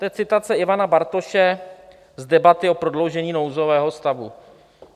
To je citace Ivana Bartoše z debaty o prodloužení nouzového stavu.